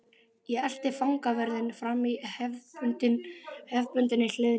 Ég elti fangavörðinn fram í hefðbundinni hlýðni.